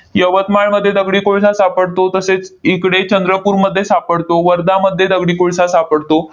यवतमाळमध्ये दगडी कोळसा सापडतो, तसेच इकडे चंद्रपूरमध्ये सापडतो, वर्धामध्ये दगडी कोळसा सापडतो.